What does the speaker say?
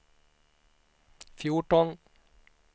fjorton